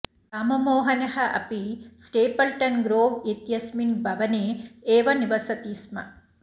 राममोहनः अपि Stapleton Grove इत्यस्मिन् भवने एव निवसति स्म